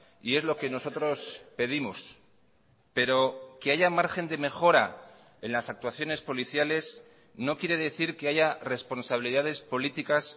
y es lo que nosotros pedimos pero que haya margen de mejora en las actuaciones policiales no quiere decir que haya responsabilidades políticas